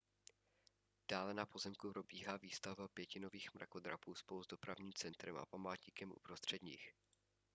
dále na pozemku probíhá výstavba pěti nových mrakodrapů spolu s dopravním centrem a památníkem uprostřed nich